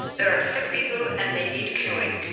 there are sick people and they need curing.'